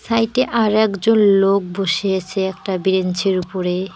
হ্যাঁ এইটে আরেকজন লোক বসিয়েছে একটা ব্রেঞ্চের উপরে।